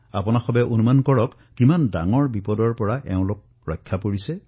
আপুনি অনুমান কৰিব পাৰে কিমান বৃহৎ সমস্যাৰ পৰা এওঁলোকে মুক্তি পাইছে